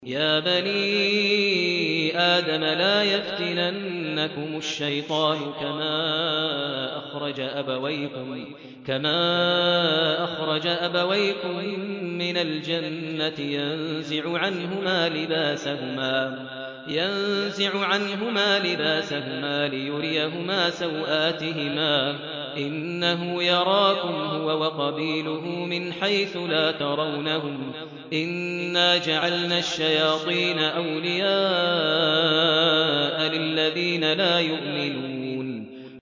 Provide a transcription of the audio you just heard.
يَا بَنِي آدَمَ لَا يَفْتِنَنَّكُمُ الشَّيْطَانُ كَمَا أَخْرَجَ أَبَوَيْكُم مِّنَ الْجَنَّةِ يَنزِعُ عَنْهُمَا لِبَاسَهُمَا لِيُرِيَهُمَا سَوْآتِهِمَا ۗ إِنَّهُ يَرَاكُمْ هُوَ وَقَبِيلُهُ مِنْ حَيْثُ لَا تَرَوْنَهُمْ ۗ إِنَّا جَعَلْنَا الشَّيَاطِينَ أَوْلِيَاءَ لِلَّذِينَ لَا يُؤْمِنُونَ